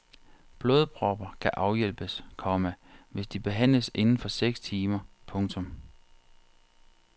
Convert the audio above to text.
Blodpropper kan afhjælpes, komma hvis de behandles inden for seks timer. punktum